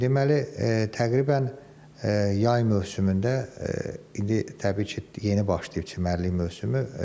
Deməli, təqribən yay mövsümündə indi təbii ki, yeni başlayıb çimərlik mövsümü.